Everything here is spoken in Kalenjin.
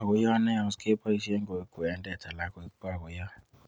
Bokoiyot neyos keboisien koik kwended alan koik bokoyot